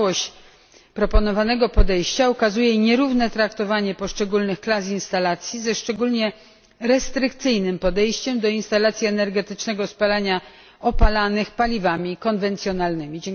Całość proponowanego podejścia ukazuje nierówne traktowanie poszczególnych klas instalacji, ze szczególnie restrykcyjnym podejściem do instalacji energetycznego spalania opalanych paliwami konwencjonalnymi.